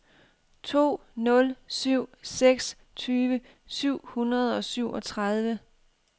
to nul syv seks tyve syv hundrede og syvogtredive